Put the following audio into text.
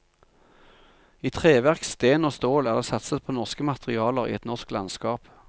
I treverk, sten og stål er det satset på norske materialer i et norsk landskap.